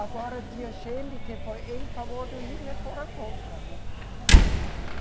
Agora tinha gente que foi em favor do Hitler e fora contra, né?